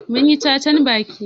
Mun yi cacan baki.